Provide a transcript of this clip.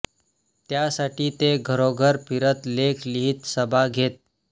त्यासाठी ते घरोघर फिरत लेख लिहीत सभा घेत